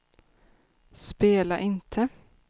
spela inte